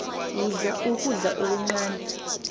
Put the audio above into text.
yidla ukudla okuncani